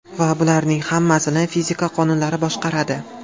Va bularning hammasini fizika qonunlari boshqaradi.